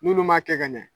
N'olu m'a kɛ ka ɲɛ